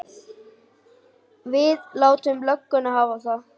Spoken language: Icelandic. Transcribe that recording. Við látum lögguna hafa það.